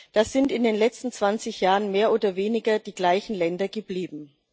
Das sind in den letzten 20 Jahren mehr oder weniger die gleichen Länder geblieben.